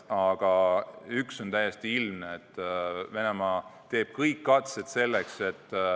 Aga üks on täiesti ilmne: Venemaa teeb kõik mis vaja.